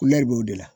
b'o de la